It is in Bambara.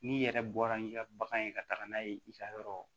N'i yɛrɛ bɔra n'i ka bagan ye ka taga n'a ye i ka yɔrɔ